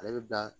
Ale bɛ bila